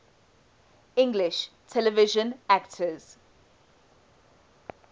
english television actors